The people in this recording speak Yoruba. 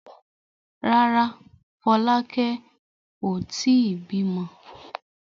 Rárá, Fọlákẹ́ ò tí ì bímọ.